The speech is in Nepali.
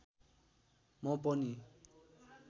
म पनि